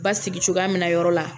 Basigi cogoya min na yɔrɔ la